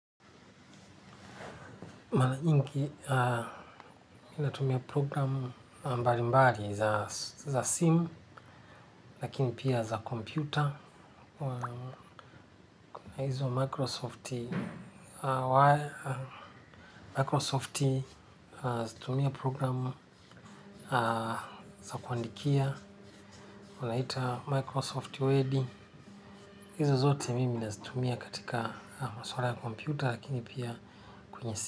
Na nyingi, inatumia programu mbali mbali za simu, lakini pia za kompyuta. Na hizo wa Microsofti wire. Microsofti, zitumia programu za kuandikia. Unaita Microsoft Wedi. Hizi zote mimi, nazitumia katika maswala ya kompyuta, lakini pia kwenye.